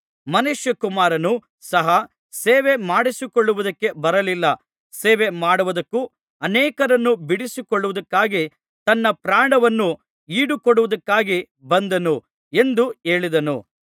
ಮನುಷ್ಯಕುಮಾರನು ಸಹ ಸೇವೆಮಾಡಿಸಿಕೊಳ್ಳುವುದಕ್ಕೆ ಬರಲಿಲ್ಲ ಸೇವೆಮಾಡುವುದಕ್ಕೂ ಅನೇಕರನ್ನು ಬಿಡಿಸಿಕೊಳ್ಳುವುದಕ್ಕಾಗಿ ತನ್ನ ಪ್ರಾಣವನ್ನು ಈಡುಕೊಡುವುದಕ್ಕಾಗಿ ಬಂದನು ಎಂದು ಹೇಳಿದನು